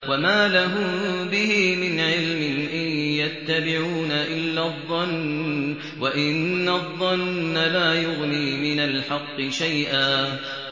وَمَا لَهُم بِهِ مِنْ عِلْمٍ ۖ إِن يَتَّبِعُونَ إِلَّا الظَّنَّ ۖ وَإِنَّ الظَّنَّ لَا يُغْنِي مِنَ الْحَقِّ شَيْئًا